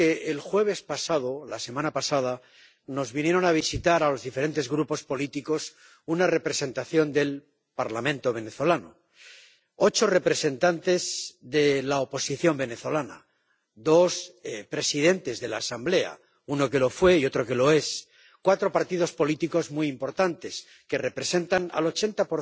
El jueves de la semana pasada vino a visitar a los diferentes grupos políticos una representación del Parlamento venezolano ocho representantes de la oposición venezolana, dos de ellos presidentes de la Asamblea —uno que lo fue y otro que lo es— de cuatro partidos políticos muy importantes que representan al 80